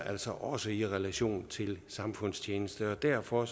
altså også i relation til samfundstjeneste og derfor